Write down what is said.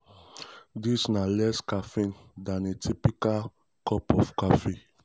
a typical serving of serving of matcha latte (one teaspoon of matcha powder) contain around 38-176mg of caffeine.